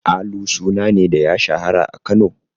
Alu suna ne da ya shahara a Kano?